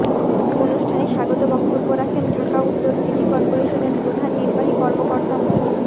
অনুষ্ঠানে স্বাগত বক্তব্য রাখেন ঢাকা উত্তর সিটি করপোরেশনের প্রধান নির্বাহী কর্মকর্তা মো